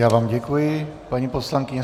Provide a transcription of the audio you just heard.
Já vám děkuji, paní poslankyně.